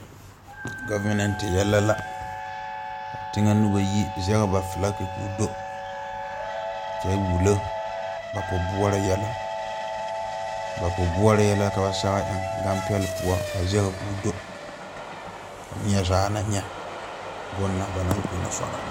Gɔvemɛnte yɛlɛ la kaa teŋɛ nobɔ yi zege ba flake koo do kyɛ wullo ba pobuoɔre yɛlɛ ba pobuoɔre yɛlɛ ka ba sɛge eŋ ganpɛle poɔ a zege koo do ka niezaa na nyɛ bon na ba naŋ kono sɔrɔ.